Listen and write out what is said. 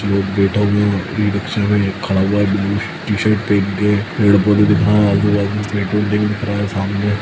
कुछ लोग बैठे हुए हैं ई-रिक्शा में एक खड़ा हुआ है ब्लू टी-शर्ट पहन के पेड़-पौधे दिख रहें हैं आजू-बाजू में पेट्रोल टैंक दिख रहा है सामने --